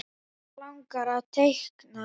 Hann langar að teikna.